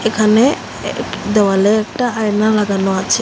এখানে এক দেওয়ালে একটা আয়না লাগানো আছে।